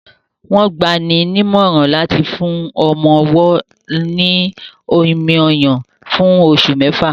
Wọ́n gbani nímọ̀ràn láti fún àwọn ọmọ-ọwọ́ ní omi-ọyàn fún oṣù mẹ́fà